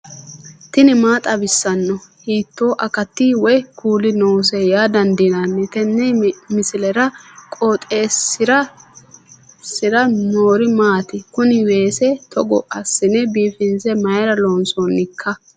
tini maa xawissanno ? hiitto akati woy kuuli noose yaa dandiinanni tenne misilera? qooxeessisera noori maati? kuni weese togo assine biifinse mayra loonsoonikka